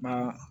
Ba